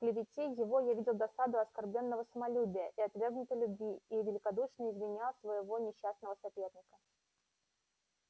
в клевете его видел я досаду оскорблённого самолюбия и отвергнутой любви и великодушно извинял своего несчастного соперника